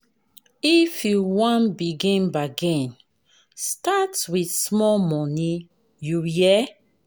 If you wan begin bargain, start wit small moni, you hear?